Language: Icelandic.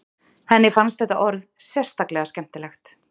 Henni fannst þetta orð sérstaklega skemmtilegt.